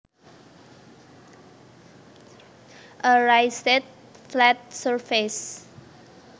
A raised flat surface